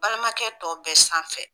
Balimakɛ tɔ bɛɛ sanfɛ